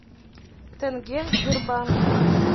тенге в сбербанке